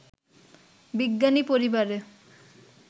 বিজ্ঞানী পরিবারে